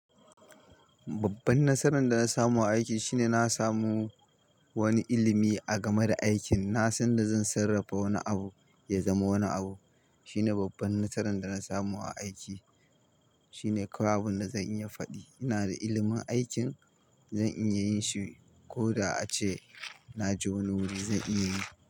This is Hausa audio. Babban nasaran da na samu a aiki shine na samu wani ilimi a game da aikin. Na san da zan sarrafa wani abu ya zama wani abu. Shine babban nasaran da na samu a aiki shine kawai abun da zan iya faɗi. Ina da ilimin aikin, zan iya yin shi ko da ace na je wani wuri zan iya yi.